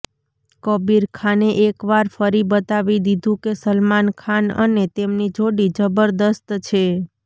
કબીર ખાને એકવાર ફરી બતાવી દીધું કે સલમાન ખાન અને તેમની જોડી જબરદસ્ત છે